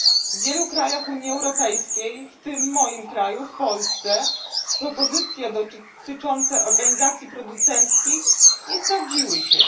W wielu krajach Unii Europejskiej w tym w moim kraju, w Polsce, propozycje dotyczące organizacji producenckich nie sprawdziły się.